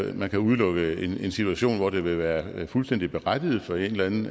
at man kan udelukke en situation hvor det vil være fuldstændig berettiget for en eller anden